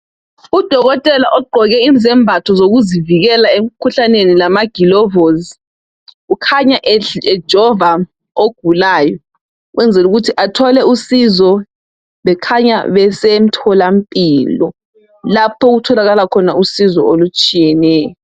Udokotela ogqoke izembatho zokuzivikela emikhuhlaneni lama gilovosi ukhanya ejova ogulayo ukwenzelu kuthi athole usizo bekhanya besemthola mpilo . Lapho okutholakala khona usizo olutshiyeneyo .